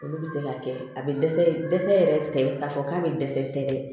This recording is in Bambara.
Olu bɛ se ka kɛ a bɛ dɛsɛ dɛsɛ yɛrɛ tɛ k'a fɔ k'a bɛ dɛsɛ tɛ dɛ